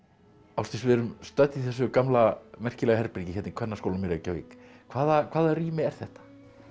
Ásdís við erum stödd í þessu gamla merkilega herbergi hérna í Kvennaskólanum í Reykjavík hvaða hvaða rými er þetta